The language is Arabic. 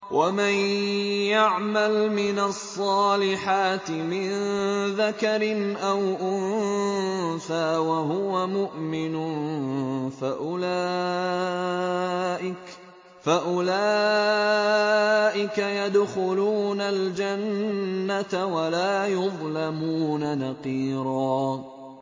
وَمَن يَعْمَلْ مِنَ الصَّالِحَاتِ مِن ذَكَرٍ أَوْ أُنثَىٰ وَهُوَ مُؤْمِنٌ فَأُولَٰئِكَ يَدْخُلُونَ الْجَنَّةَ وَلَا يُظْلَمُونَ نَقِيرًا